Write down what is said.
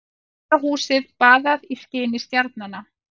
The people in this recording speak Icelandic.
Gamla húsið baðað skini stjarnanna.